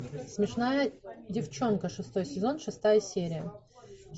смешная девчонка шестой сезон шестая серия